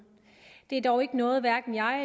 det er dog ikke noget